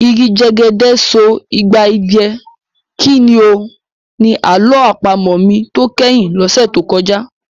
Igi jẹ́gẹ́dẹ́ so igba idẹ, kí ni o? Ni àlọ́ àpamọ̀ mi tó kẹ́yìn lọ́sẹ̀ tó kọjá.